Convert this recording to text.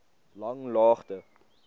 langlaagte